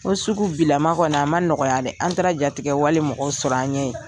O sugu bilama kɔni, a ma nɔgɔya dɛ, an taara jaitigɛ wale mɔgɔw sɔrɔ an ɲɛ yen!